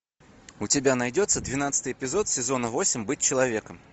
у тебя найдется двенадцатый эпизод сезона восемь быть человеком